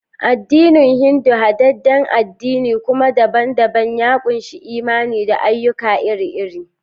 Addinin Hindu, hadadden addini kuma daban-daban, ya ƙunshi imani da ayyuka iri-iri.